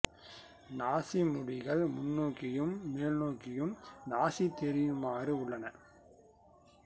நாசி முடிகள் முன்னோக்கியும் மேல் நோக்கியும் நாசி தெரியுமாறு உள்ளன